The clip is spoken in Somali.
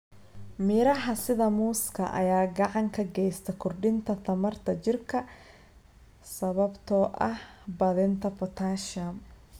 Miraha sida muuska ayaa gacan ka geysta kordhinta tamarta jirka sababtoo ah badinta potassium.